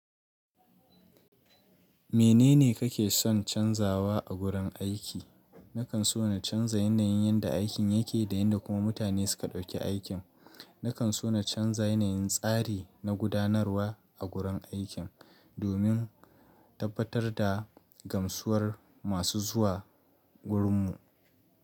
Menene kake son canzawa a gurin aiki? Nakan so na canza yanayin yanda aikin yake da yadda kuma mutane su ka ɗauki aikin. Nakan so na canza yanayin tsari na gudanarwa a gurin aikin domin tabbatar da gamsuwar masu zuwa gurinmu.